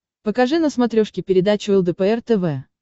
покажи на смотрешке передачу лдпр тв